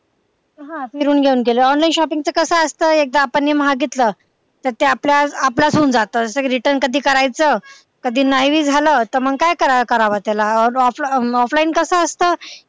हा फिरून घेऊन केलं online shopping च कस असत एकदा आपण हे मागितलं तर ते आपल्या आपल्याच होऊन जात तर ते कधी return करायचं कधी नाय भी झालं तर मग काय करावं त्याला offline कस असत.